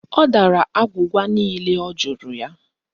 Ọ dara agwụgwa niile ọ jụrụ ya